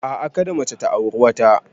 A'a, kada mace ta auri wata.